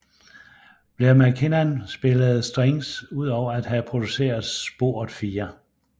Blair MacKichan spillede Strings udover at have produceret sporet 4